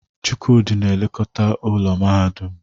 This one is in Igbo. Chukwudi na-elekọta ụlọ mahadum.